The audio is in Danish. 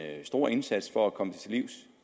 stor indsats for at komme det til livs